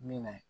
Min na